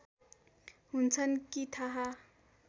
हुन्छन् कि थाहा